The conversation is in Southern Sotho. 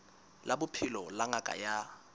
la bophelo la ngaka ya